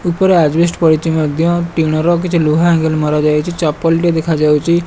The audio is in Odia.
ଉପର ଆଜବେଷ୍ଟ ପଡିଛି ମଧ୍ୟ ଟିଣର କିଛି ଲୁହା ଆଗେଲ ମରାଯାଇଛି ଚପଲ ଦେଖାଯାଉଛି।